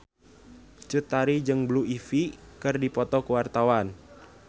Cut Tari jeung Blue Ivy keur dipoto ku wartawan